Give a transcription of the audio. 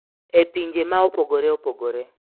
E pinje ma opogore opogore.